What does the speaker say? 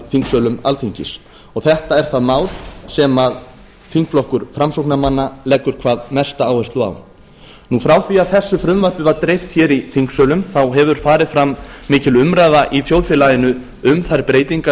þingsölum alþingis og þetta er það mál sem þingflokkur framsóknarmanna leggur hvað mesta áherslu á frá því að þessu frumvarpi var dreift í þingsölum þá hefur farið fram mikil umræða í þjóðfélaginu um þær breytingar